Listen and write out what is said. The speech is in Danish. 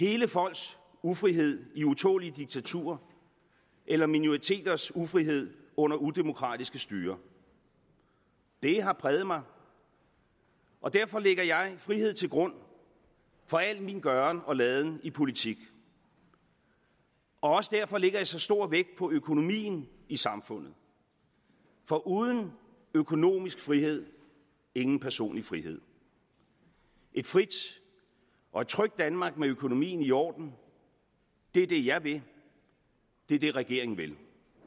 hele folks ufrihed i utålelige diktaturer eller minoriteters ufrihed under udemokratiske styrer det har præget mig og derfor lægger jeg frihed til grund for al min gøren og laden i politik og også derfor lægger jeg så stor vægt på økonomien i samfundet for uden økonomisk frihed ingen personlig frihed et frit og trygt danmark med økonomien i orden er det jeg vil det er det regeringen vil